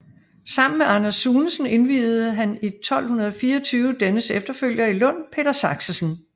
Sammen med Anders Sunesen indviede han i 1224 dennes efterfølger i Lund Peder Saxesen